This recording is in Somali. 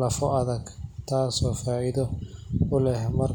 lafo adag, taasoo faa’iido u leh.